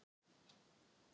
Stutt á milli lífs og dauða